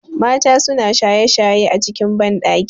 Mata sunayin shaye shaye a cikin banɗaki